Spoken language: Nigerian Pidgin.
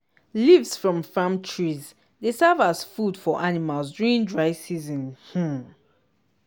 leaves from farm trees dey serve as food for animals during dry season. um